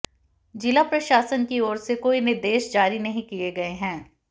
जिला प्रशासन की ओर से कोई निर्देश जारी नहीं किए गए हैं